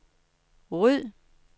ryd